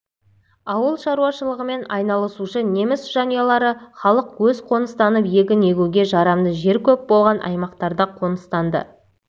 ауыл шаруашылығымен айналысушы неміс жанұялары халық аз қоныстанып егін егуге жарамды жер көп болған аймақтарда қоныстанды